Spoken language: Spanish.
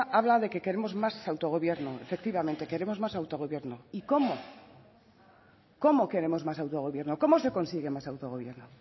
habla de que queremos más autogobierno efectivamente queremos más autogobierno y cómo cómo queremos más autogobierno cómo se consigue más autogobierno